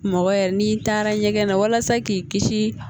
Mɔgɔ yɛrɛ n'i taara ɲɛgɛn na walasa k'i kisi